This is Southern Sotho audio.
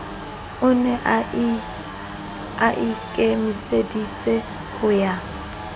o ne aikemiseditse ho ya